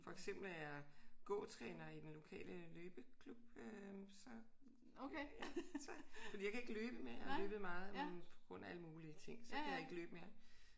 For eksempel er jeg gåtræner i den lokale løbeklub øh så fordi jeg kan ikke løbe mere. Jeg har løbet meget men på grund af alle mulige ting så kan jeg ikke løbe mere